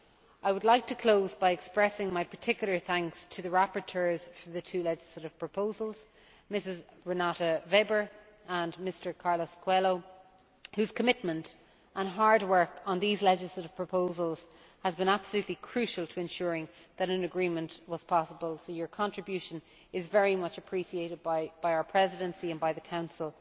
I would like to close by expressing my particular thanks to the rapporteurs for the two legislative proposals Mrs Renate Weber and Mr Carlos Coelho whose commitment and hard work on these legislative proposals has been absolutely crucial to ensuring that an agreement was possible, so your contribution is very much appreciated by our Presidency and by the Council,